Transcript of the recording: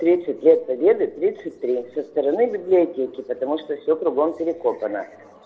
тридцать лет победы тридцать три со стороны библиотеки потому что все кругом перекопано